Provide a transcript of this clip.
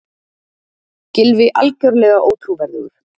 Gylfi algjörlega ótrúverðugur